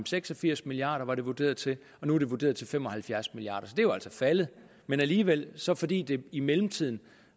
seks og firs milliard var det vurderet til og nu er det vurderet til fem og halvfjerds milliard kroner det er jo altså faldet men alligevel så fordi det i mellemtiden